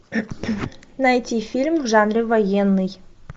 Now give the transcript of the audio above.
найти фильм в жанре военный